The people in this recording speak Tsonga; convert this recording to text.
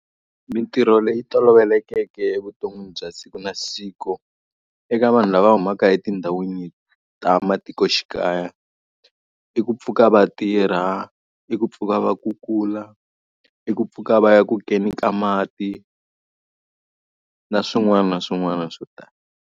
Mintirho leyi tolovelekeke evuton'wini bya siku na siku, eka vanhu lava humaka etindhawini ta matikoxikaya. I ku pfuka va tirha, i ku pfuka va kukula, i ku pfuka va ya ku keni ka mati, na swin'wana na swin'wana swo tala.